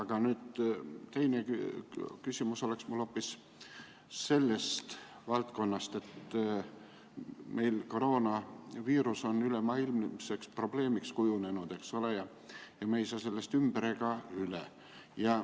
Aga teine küsimus oleks mul hoopis sellest valdkonnast, et koroonaviirus on kujunenud ülemaailmseks probleemiks ja me ei saa sellest ümber ega üle.